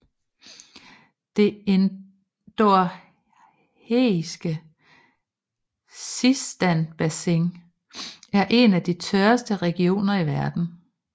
Det endorheiske Sistanbassin er en af de tørreste regioner i verden